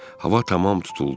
Hava tamam tutuldu.